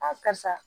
karisa